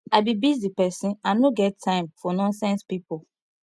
i be busy person i no get time for nonsense people